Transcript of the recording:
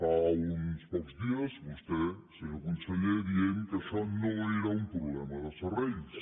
fa uns pocs dies vostè se nyor conseller deia que això no era un problema de serrells